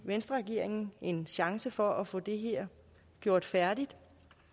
venstreregeringen en chance for at få det her gjort færdigt